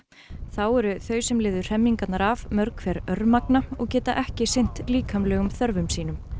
þá eru þau sem lifðu hremmingarnar af mörg hver örmagna og geta ekki sinnt líkamlegum þörfum sínum